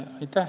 Aitäh!